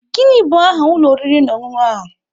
Gịnị bụ aha ụlọ oriri na ọṅụṅụ a?